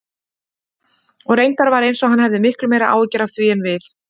Og reyndar var eins og hann hefði miklu meiri áhyggjur af því en við.